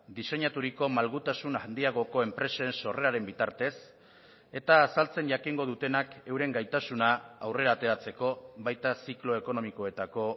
diseinaturiko malgutasun handiagoko enpresen sorreraren bitartez eta azaltzen jakingo dutenak euren gaitasuna aurrera ateratzeko baita ziklo ekonomikoetako